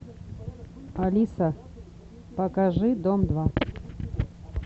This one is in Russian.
алиса покажи дом два